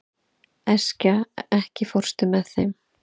Eskja, ekki fórstu með þeim?